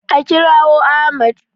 A kirawo Ahmad!